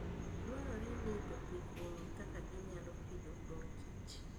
Dwarore ni jopith ong'e kaka ginyalo pidho mor kich.